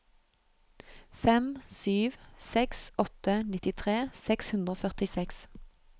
fem sju seks åtte nittitre seks hundre og førtiseks